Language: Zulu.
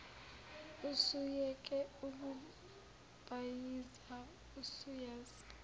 usuyeke ukubhayiza usuyazi